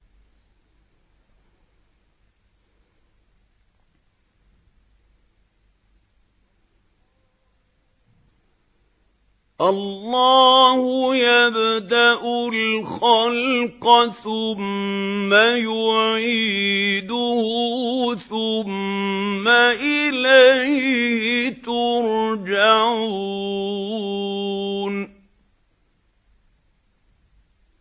اللَّهُ يَبْدَأُ الْخَلْقَ ثُمَّ يُعِيدُهُ ثُمَّ إِلَيْهِ تُرْجَعُونَ